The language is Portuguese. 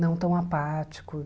Não tão apático.